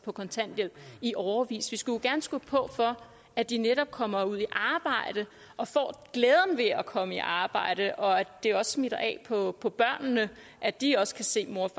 på kontanthjælp i årevis vi skulle gerne skubbe på for at de netop kommer ud i arbejde og får glæden ved at komme i arbejde og at det også smitter af på på børnene at de også kan se morens